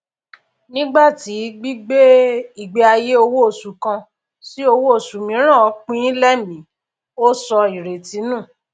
nígbàtí gbígbé ìgbé ayé owó oṣù kan sí owó oṣù mìíràn pinín lẹmìí ó sọ ìrètí nù